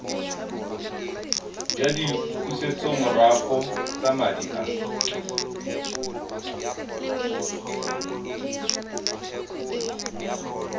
jwa dipusetsomorago tsa madi a